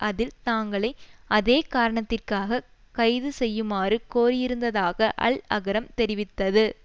அதில் தாங்களையும் அதே காரணத்திற்காக கைது செய்யுமாறு கோரியிருந்ததாக அல் அகரம் தெரிவித்தது